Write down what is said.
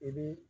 I bi